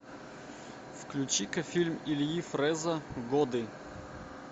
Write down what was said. включи ка фильм ильи фрэза годы